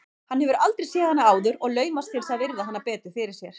Hann hefur aldrei séð hana áður og laumast til að virða hana betur fyrir sér.